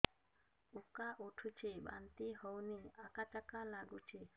ଉକା ଉଠୁଚି ବାନ୍ତି ହଉନି ଆକାଚାକା ନାଗୁଚି